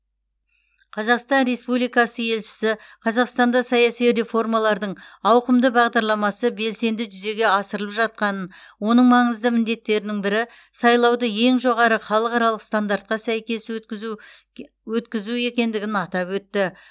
қазақстан республикасы елшісі қазақстанда саяси реформалардың ауқымды бағдарламасы белсенді жүзеге асырылып жатқанын оның маңызды міндеттерінің бірі сайлауды ең жоғары халықаралық стандартқа сәйкес өткізу ке өткізу екендігін атап өтті